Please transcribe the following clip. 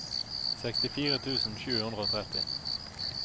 sekstifire tusen sju hundre og tretti